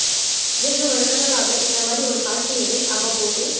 வெகு வருடங்களாக இந்த மாதிரி ஒரு காட்சி என்னில் அவ்வப்போது